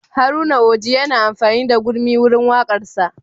Haruna Oji yana amfani da gurmi wurin waƙarsa